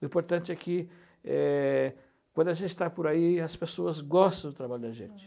O importante é que é quando a gente está por aí, as pessoas gostam do trabalho da gente.